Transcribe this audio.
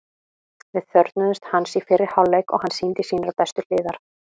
Við þörfnuðumst hans í fyrri hálfleik og hann sýndi sínar bestu hliðar.